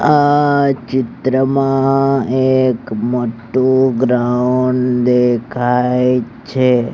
આ ચિત્ર માં એક મોટુ ગ્રાઉન્ડ દેખાય છે.